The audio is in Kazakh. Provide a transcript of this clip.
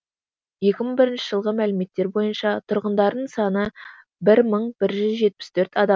екі мың бірінші жылғы мәліметтер бойынша тұрғындарының саны бір мың бір жүз жетпіс төрт адам